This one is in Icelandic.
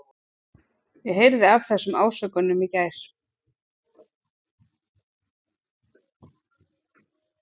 Ég heyrði af þessum ásökunum í gær.